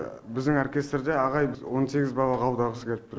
біздің оркестрде ағай он сегіз бала қабылдағысы келіп тұр